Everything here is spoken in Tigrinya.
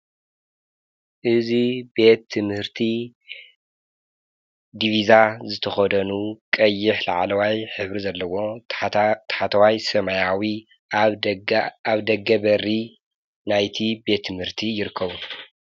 እዝ ቤትምህርቲ ዲብዛ ዘተኾደኑ ቐይሕ ለዓለዋይ ሕብሪ ዘለዎ ተሓተዋይ ሰማያዊ ኣብ ደገ በሪ ናይቲ ቤትምህርቲ ይርከዉ።